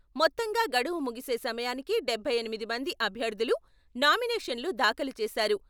మొత్తంగా గడువు ముగిసే సమయానికి డబ్బై ఎనిమిది మంది అభ్యర్థులు నామినేషన్లు దాఖలు చేశారు.